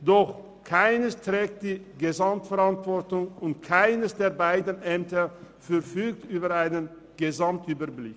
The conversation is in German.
Doch keines trägt die Gesamtverantwortung und keines der beiden Ämter verfügt über einen Gesamtüberblick.